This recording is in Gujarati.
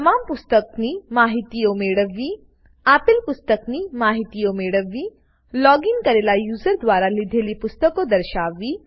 તમામ પુસ્તકની માહિતીઓ મેળવવી આપેલા પુસ્તકની માહિતીઓ મેળવવી લોગીન કરેલા યુઝર દ્વારા લીધેલી પુસ્તકો દર્શાવવી